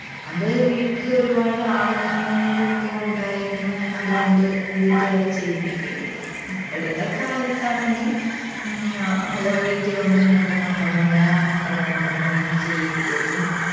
അത് വീട്ടില് ഒരുപാട് ആള്, അംഗങ്ങളും ഒക്കെ ഉണ്ടായിരുന്ന് അതുകൊണ്ട് വീട്ടുകാര് ചെയ്യിപ്പിക്കുകയും ചെയ്യും. ഇപ്പഴത്തെ കാലത്താണെങ്കിൽ ഉം അഹ് വീട്ടില് ഒന്നും രണ്ടും മക്കളുള്ള, ആ മക്കളെകൊണ്ട് ഒന്നും ചെയ്യിപ്പിക്കത്.